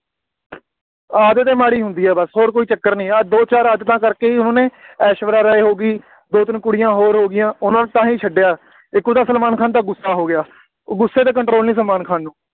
ਆਦਤ ਹੀ ਮਾੜ੍ਹੀ ਹੁੰਦੀ ਹੈ ਬੱਸ, ਹੋਰ ਕੋਈ ਚੱਕਰ ਨਹੀਂ, ਆਹ ਦੋ ਚਾਰ ਆਦਤਾਂ ਕਰਕੇ ਉਹਨੇ ਐਸ਼ਵਰਿਆ ਰਾਏ ਹੋ ਗਈ, ਦੋ ਤਿੰਨ ਕੁੜੀਆਂ ਹੋਰ ਹੋ ਗਈਆਂ, ਉਹਨਾ ਨੂੰ ਤਾਂ ਹੀ ਛੱਡਿਆ, ਇੱਕ ਉਹਦਾ ਸਲਮਾਨ ਖਾਨ ਦਾ ਗੁੱਸਾ ਹੋ ਗਿਆ, ਉਹ ਗੁੱਸੇ 'ਤੇ control ਨਹੀਂ ਸਲਮਾਨ ਖਾਨ ਨੂੰ,